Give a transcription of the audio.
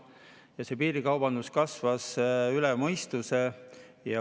Ja see piirikaubandus kasvas üle mõistuse.